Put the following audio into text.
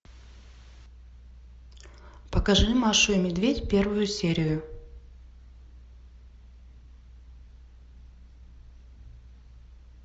покажи машу и медведь первую серию